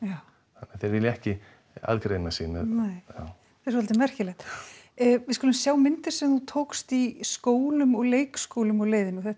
þeir vilja ekki aðgreina sig það er svolítið merkilegt við skulum sjá myndir sem þú tókst í skólum og leikskólum á leiðinni þetta